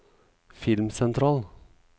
filmsentral